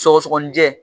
Sɔgɔsɔgɔnijɛ